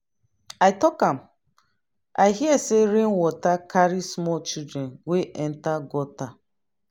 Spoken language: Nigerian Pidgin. i talk am. i hear say rain water carry small children wey enter gutter.